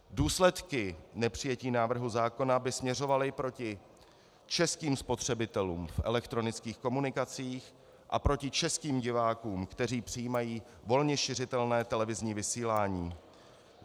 Důsledky nepřijetí návrhu zákona by směřovaly proti českým spotřebitelům v elektronických komunikacích a proti českým divákům, kteří přijímají volně šiřitelné televizní vysílání.